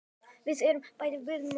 Við erum bæði mjög spennt.